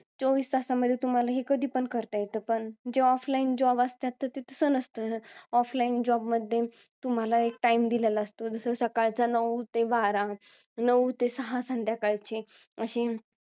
चोवीस तासांमध्ये तुम्हाला हे कधीपण करता येतं. पण जे offline job असतात ते तसं नसतं. offline job मध्ये तुम्हला एक time दिलेला असतो. जसं, सकाळचा नऊ ते बारा. नऊ ते सहा संध्याकाळचे. अशी